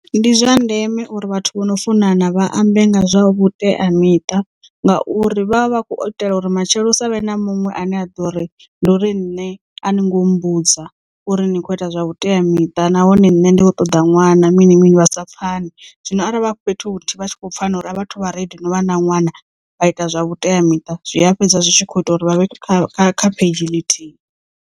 Ndi zwa ndeme uri vhathu vhano funana vha ambe nga zwa vhuteamiṱa, ngauri vha vha vha khou itela uri matshelo hu savhe na muṅwe ane a ḓo ri ndi uri nṋe a ni ngo mmbudza uri ni kho ita zwa vhuteamiṱa nahone nṋe ndi kho ṱoḓa ṅwana mini mini vha sa pfane zwino arali vha fhethu huthihi vha tshi kho pfana uri a vhathu vha ready no vha na ṅwana vha ita zwa vhuteamiṱa zwi a fhedza zwi tshi kho ita uri vha vhe kha kha kha pheidzhi ḽithihi.